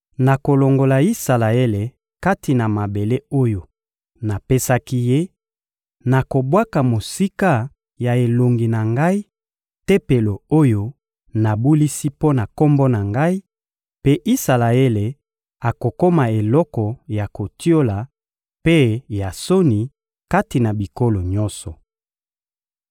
nakolongola Isalaele kati na mabele oyo napesaki ye, nakobwaka mosika ya elongi na Ngai Tempelo oyo nabulisi mpo na Kombo na Ngai, mpe Isalaele akokoma eloko ya kotiola mpe ya soni kati na bikolo nyonso.